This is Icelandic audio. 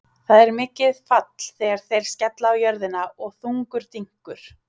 Það er mikið fall þegar þeir skella á jörðina og þungur dynkur.